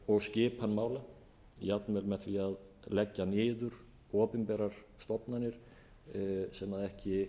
og skipan mála jafnvel með því að leggja niður opinberar stofnanir sem ekki